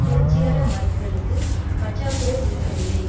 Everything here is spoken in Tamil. புரட்சிகர வாய்ப்புகளுக்கு பற்றாக்குறை இருக்கவில்லை